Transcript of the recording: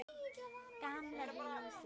Gamla húsið.